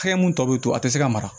Hakɛ mun tɔ be to a te se ka mara